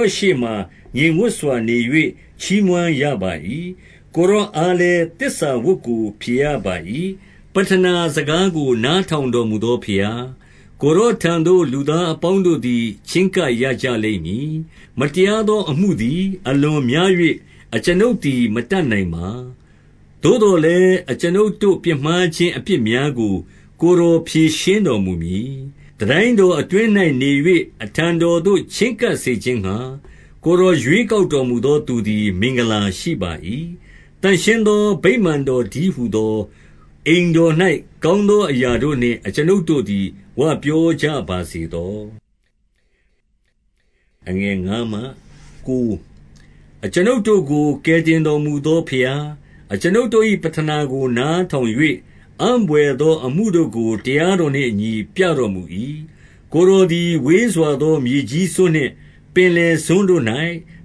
ော်ရှေ့မှာ ငြိမ်ဝပ်စွာ နေ၍ ချီးမွမ်းရပါ၏။ ကိုယ်တော် အားလည်း သစ္စာဝတ်ကို ဖြေရပါ၏။ 2 ပဌနာစကားကို နားထောင်တော်မူသော ဘုရား၊ ကိုယ်တော်ထံသို့ လူသားအပေါင်းတို့သည် ချဉ်းကပ် ရကြလိမ့်မည်။ 3 မတရားသောအမှုသည် အလွန်များ၍ အကျွန်ုပ်သည် မတတ်နိုင်ပါ။ သို့သော်လည်း၊ အကျွန်ုပ်တို့ ပြစ်မှားခြင်း အပြစ်များကို ကိုယ်တော်ဖြေရှင်းတော်မူမည်။ 4 တန်တိုင်းတော်အတွင်း၌ နေ၍၊ အထံတော်သို့ ချဉ်းကပ်စေခြင်းငှါ၊ ကိုယ်တော်ရွေးကောက် တော်မူသော သူသည် မင်္ဂလာရှိပါ၏။ သန့်ရှင်းသော ဗိမာန်တော်တည်းဟူသော အိမ်တော်၌ ကောင်းသော အရာတို့နှင့် အကျွန်ုပ်တို့သည် ဝပြောကြပါစေသော။ 5 အကျွန်ုပ်တို့ကို ကယ်တင်တော်မူသော ဘုရား၊ အကျွန်ုပ်တို့၏ ပဌနာကို နားထောင်၍ အံ့ဘွယ်သော အမှုတို့ကို တရားတော်နှင့်အညီ ပြတော်မူ၏။ ကိုယ်တော်သည် ဝေးစွာသော မြေကြီးစွန်းနှင့်၊ ပင်လယ်စွန်းတို့၌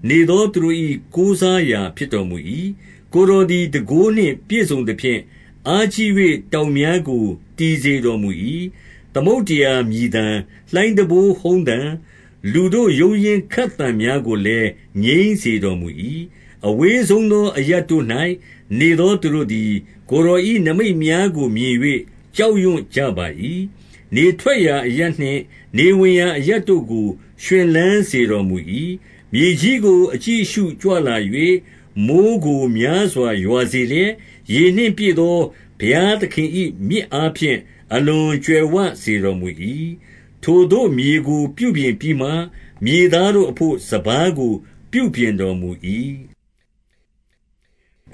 နေသောသူတို့၏ ကိုးစားရာ ဖြစ်တော်မူ၏။ 6 ကိုယ်တော်သည် တန်ခိုးနှင့် ပြည့်စုံသဖြင့်၊ အားကြီး၍ တောင်များကို တည်စေတော်မူ၏။ 7 သမုဒ္ဒရာမြည်သံ၊ လှိုင်းတံပိုးဟုန်းသံ၊ လူတို့ ရုန်းရင်းခတ်သံများကိုလည်း ငြိမ်းစေတော်မူ၏။ 8 အဝေးဆုံးသော အရပ်တို့၌နေသော သူတို့သည် ကိုယ်တော်၏ နိမိတ်များကို မြင်၍ ကြောက်ရွံ့ကြ ပါ၏။ နေထွက်ရာအရပ်နှင့် နေဝင်ရာအရပ်တို့ကို ရွှင်လန်းစေတော်မူ၏။ 9 မြေကြီးကို အကြည့်အရှုကြွလာ၍၊ မိုဃ်းကို များစွာ ရွာစေလျက်၊ ရေနှင့် ပြည့်သော ဘုရားသခင်၏ မြစ်အားဖြင့် အလွန်ကြွယ်ဝစေတော်မူ၏။ ထိုသို့ မြေကို ပြုပြင်ပြီးမှ၊ မြေသားတို့အဘို့ စပါးကို ပြုပြင်တော်မူ၏။ 10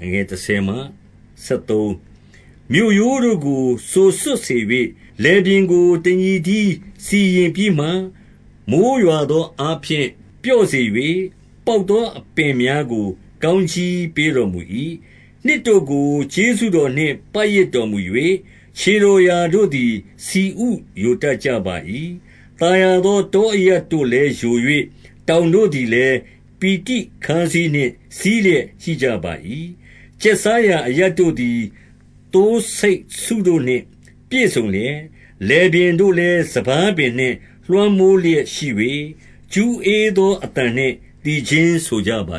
မြေရိုးတို့ကို စိုစွတ်စေ၍၊ လယ်ပြင်ကို တညီတည်း စီရင်ပြီးမှ၊ မိုဃ်းရွာသောအားဖြင့် ပြော့စေ၍၊ ပေါက်သော အပင်များကို ကောင်းကြီးပေးတော်မူ၏။ 11 နှစ်တို့ကို ကျေးဇူးတော်နှင့် ပတ်ရစ်တော်မူ၍၊ ခြေတော်ရာတို့သည် ဆီဥယိုတတ်ကြပါ၏။ 12 သာယာသော တောအရပ်တို့လည်း ယို၍၊ တောင်တို့သည်လည်း ပီတိခါးစည်းနှင့် စည်းလျက် ရှိကြပါ၏။ 13 ကျက်စားရာအရပ်တို့သည် သိုးဆိတ်စုတို့နှင့် ပြည့်စုံလျက်၊ လယ်ပြင်တို့လည်း စပါးပင်နှင့် လွှမ်းမိုးလျက် ရှိ၍၊ ကျူးဧသော အသံနှင့် သီချင်းဆိုကြပါ